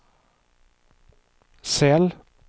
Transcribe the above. cell